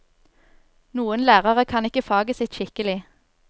Noen lærere kan ikke faget sitt skikkelig.